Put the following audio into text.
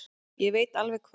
Ég veit alveg hvað